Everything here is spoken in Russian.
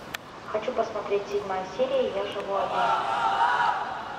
хочу посмотреть седьмая серия я живу один